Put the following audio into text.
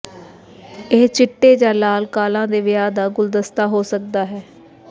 ਇਹ ਚਿੱਟੇ ਜਾਂ ਲਾਲ ਕਾਲਾ ਦੇ ਵਿਆਹ ਦਾ ਗੁਲਦਸਤਾ ਹੋ ਸਕਦਾ ਹੈ